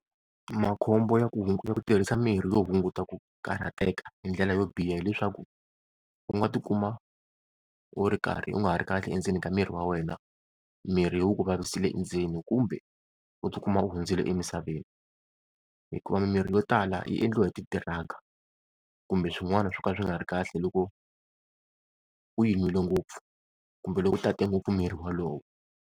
Makhombo ya ku hunguta ku tirhisa mirhi yo hunguta ku karhateka hindlela yo biha hileswaku, u nga tikuma u ri karhi u nga ha ri kahle endzeni ka miri wa wena, mirhi wu ku vavisile endzeni kumbe u tikuma u hundzile emisaveni hikuva mimirhi yo tala yi endliwa hi ti-drug kumbe swin'wana swo ka swi nga ri kahle loko u yi n'wile ngopfu kumbe loko u tate ngopfu mirhi wolowo.